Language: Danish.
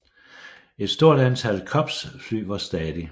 Et stort antal Cubs flyver stadig